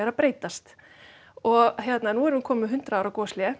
að breytast og nú erum við komin með hundrað ára